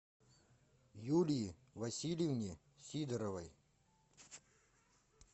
юлии васильевне сидоровой